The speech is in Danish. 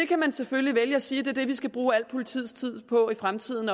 kan selvfølgelig vælge at sige er det vi skal bruge al politiets tid på i fremtiden